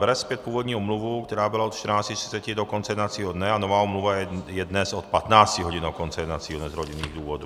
Bere zpět původní omluvu, která byla od 14.30 do konce jednacího dne a nová omluva je dnes od 15 hodin do konce jednacího dne z rodinných důvodů.